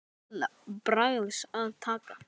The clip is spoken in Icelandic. En hvað átti hann til bragðs að taka?